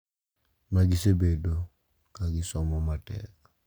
Magisebedo ka gisomo matek.